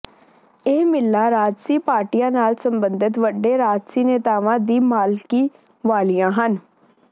ਇਹ ਮਿੱਲਾਂ ਰਾਜਸੀ ਪਾਰਟੀਆਂ ਨਾਲ ਸਬੰਧਤ ਵੱਡੇ ਰਾਜਸੀ ਨੇਤਾਵਾਂ ਦੀ ਮਾਲਕੀ ਵਾਲੀਆਂ ਹਨ